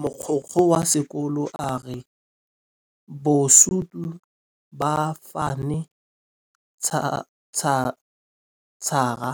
Mogokgo wa sekolo a re bosutô ba fanitšhara